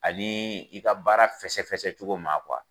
Ani i ka baara fɛsɛfɛsɛcogo ma